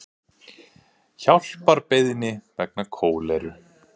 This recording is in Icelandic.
Hjálparbeiðni vegna kóleru